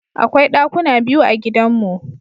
Akwai ɗakuna biyu a gidanmu.